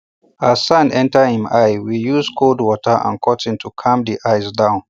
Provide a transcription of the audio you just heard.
as sand enter him eye we use cold water and cotton to calm the eye down